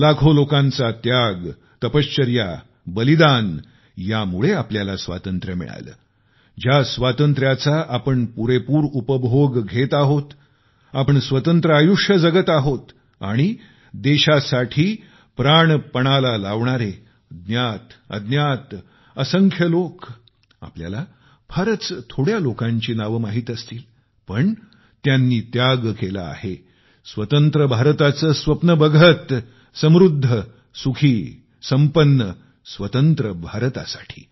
लाखो लोकांचा त्याग तपश्चर्या बलिदान यामुळे आपल्याला स्वातंत्र्य मिळाले ज्या स्वातंत्र्याचा आपण पुरेपूर उपभोग घेत आहोत आपण स्वतंत्र आयुष्य जगत आहोत आणि देशासाठी मरणारे देशासाठी प्राण पणाला लावणारे ज्ञातअज्ञात असंख्य लोक आपल्याला फारच थोड्या लोकांची नावे माहित असतीलपण त्यांनी त्याग केला आहे स्वतंत्र भारताचे स्वप्न बघत समृद्ध सुखी संपन्न स्वतंत्र भारतासाठी